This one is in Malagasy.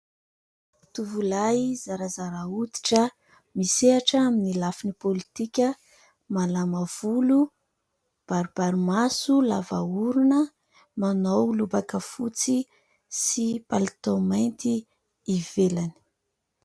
Tovolahy zarazara hoditra misehatra amin'ny lafin'ny politika, malama volo, baribary maso, lava orona, manao lobaka fotsy sy palitao mainty ivelany.